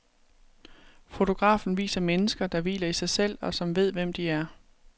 Fotografen viser mennesker, der hviler i sig selv, og som ved, hvem de er.